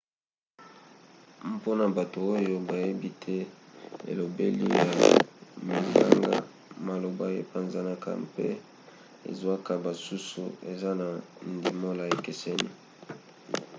mpona bato oyo bayebi te elobeli ya minganga maloba epanzanaka mpe ezwaka basusu eza na ndimbola ekeseni